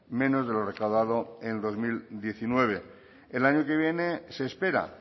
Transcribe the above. menos de lo recaudado en dos mil diecinueve el año que viene se espera